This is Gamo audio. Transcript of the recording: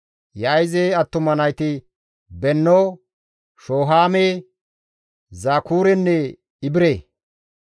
Yaa7ize attuma nayti Benno, Shohaame, Zakurenne Ibire.